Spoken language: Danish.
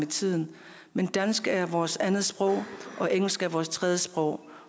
tiden men dansk er vores andetsprog og engelsk er vores tredjesprog